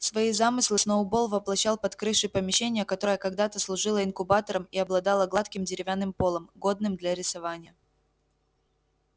свои замыслы сноуболл воплощал под крышей помещения которое когда-то служило инкубатором и обладало гладким деревянным полом годным для рисования